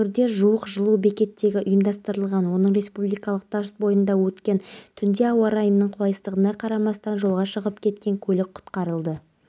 тиісті көмек көрсетті абылайдың анасы сәлима жолдасованың айтуынша ұлының жоғалғаны туралы ол келесі күні таңертеңгісін